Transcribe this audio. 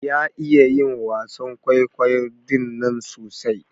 Ya iya yin wasan kwaikwayon ɗinnan sosai.